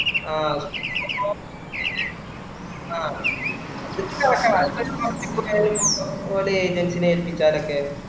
ആഹ് ഓ പിന്നെ ആഹ് അതിനു data അതൊക്കെ ഓരോ agent നെ ഏൽപ്പിച്ചാലോക്കെ